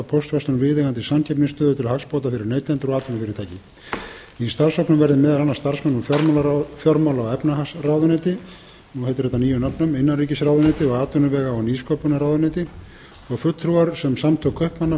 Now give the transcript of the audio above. póstverslun viðeigandi samkeppnisstöðu til hagsbóta fyrir neytendur og atvinnufyrirtæki í starfshópnum verði meðal annars starfsmenn úr fjármála og efnahagsráðuneyti nú heitir þetta nýjum nöfnum innanríkisráðuneyti og atvinnuvega og nýsköpunarráðuneyti og fulltrúar sem samtök kaupmanna flutningsfyrirtækja